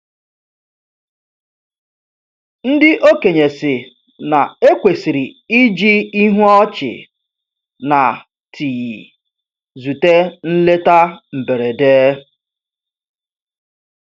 Ndị okenye sị na- ekwesịrị i ji ihu ọchị na tii zute nleta mberede.